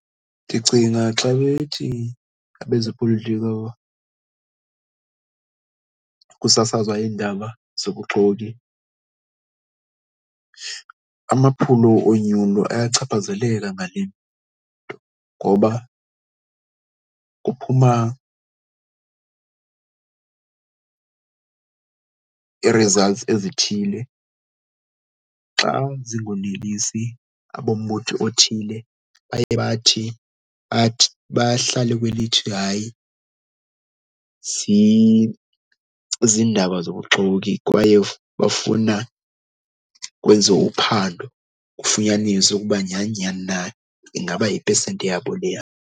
Ndicinga xa bethi abezopolitiko kusasazwa indaba zobuxoki, amaphulo onyulo ayachaphazeleka ngale nto ngoba kuphuma ii-results ezithile. Xa zingonelesi abombutho othile, baye bathi athi bahlale kwelithini hayi ziindaba zobuxoki kwaye bafuna kwenziwe uphando kufunyaniswe ukuba nyhani nyhani na, ingaba yipesenti yabo leya.